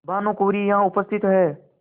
भानुकुँवरि यहाँ उपस्थित हैं